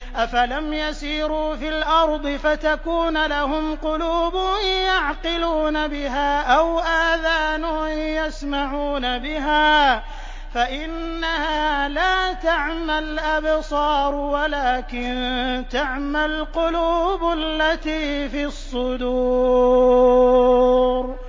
أَفَلَمْ يَسِيرُوا فِي الْأَرْضِ فَتَكُونَ لَهُمْ قُلُوبٌ يَعْقِلُونَ بِهَا أَوْ آذَانٌ يَسْمَعُونَ بِهَا ۖ فَإِنَّهَا لَا تَعْمَى الْأَبْصَارُ وَلَٰكِن تَعْمَى الْقُلُوبُ الَّتِي فِي الصُّدُورِ